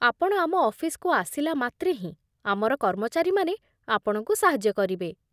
ଆପଣ ଆମ ଅଫିସକୁ ଆସିଲା ମାତ୍ରେ ହିଁ ଆମର କର୍ମଚାରୀମାନେ ଆପଣଙ୍କୁ ସାହାଯ୍ୟ କରିବେ।